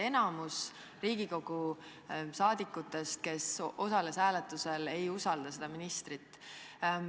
Enamik Riigikogu liikmeid, kes osalesid hääletusel, ei usalda seda ministrit.